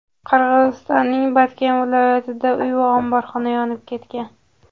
Qirg‘izistonning Botken viloyatida uy va omborxona yonib ketgan .